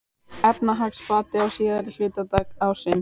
Efnahagsbati á síðari hluta ársins